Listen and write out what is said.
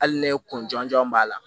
Hali ne kun jɔn jɔn b'a la